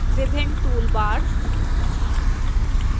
विभिन्न toolbars